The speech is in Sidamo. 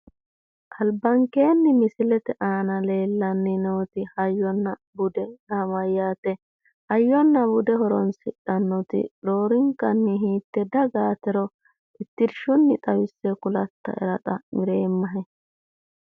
Albankeenni misiletw aana leellanni noori hayyonna bude yaa mayyaate? Hayyona bude horonsidhannoti roorenkanni hiitte dagaatiro tittirshshunni kulatyaera xa'mireemmahe?